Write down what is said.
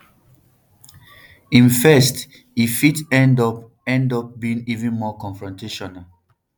im first e fit end up end up being even more confrontational